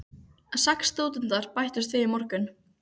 Sex stúdentar bættust við í morgun.